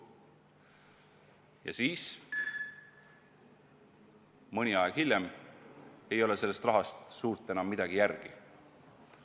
Ja siis, mõni aeg hiljem, ei ole sellest rahast enam suurt midagi järel.